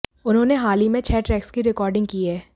उन्होंने हाल ही में छह ट्रैक्स की रिकॉर्डिंग की है